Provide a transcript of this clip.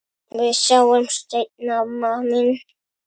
Við sjáumst seinna, amma mín.